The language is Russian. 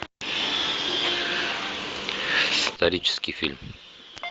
исторический фильм